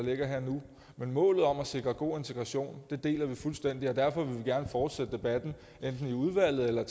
ligger her og nu men målet om at sikre god integration deler vi fuldstændig og derfor vil vi gerne fortsætte debatten enten i udvalget eller